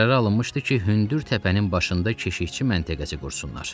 Qərara alınmışdı ki, hündür təpənin başında keşikçi məntəqəsi qursunlar.